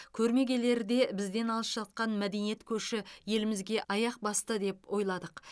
көрме келерде бізден алыс жатқан мәдениет көші елімізге аяқ басты деп ойладық